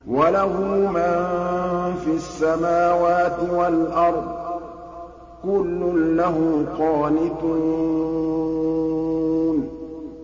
وَلَهُ مَن فِي السَّمَاوَاتِ وَالْأَرْضِ ۖ كُلٌّ لَّهُ قَانِتُونَ